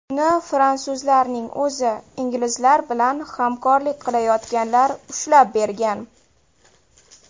Uni fransuzlarning o‘zi, inglizlar bilan hamkorlik qilayotganlar ushlab bergan.